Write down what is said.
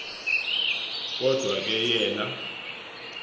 kodwa ke yena